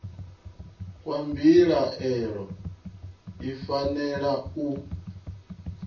kwa mbilaelo i fanela u